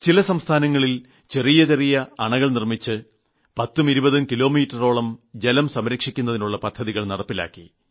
ചില സംസ്ഥാനങ്ങളിൽ ചെറിയ ചെറിയ അണകൾ നിർമ്മിച്ച് 10ഉം 20ഉം കിലോമീറ്ററോളം ജലം സംരക്ഷിക്കുന്നതിനുള്ള പദ്ധതികൾ നടപ്പിലാക്കി